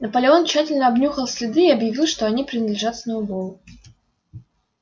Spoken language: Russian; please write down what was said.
наполеон тщательно обнюхал следы и объявил что они принадлежат сноуболлу